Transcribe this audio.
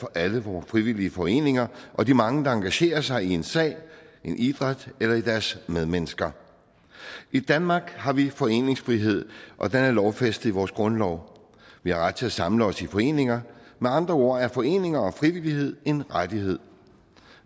for alle vore frivillige foreninger og de mange der engagerer sig i en sag i en idræt eller i deres medmennesker i danmark har vi foreningsfrihed og den er lovfæstet i vores grundlov vi har ret til at samle os i foreninger med andre ord er foreninger og frivillighed en rettighed